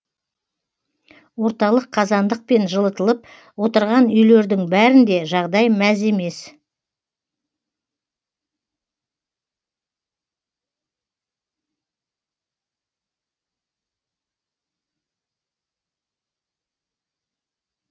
орталық қазандықпен жылытылып отырған үйлердің бәрінде жағдай мәз емес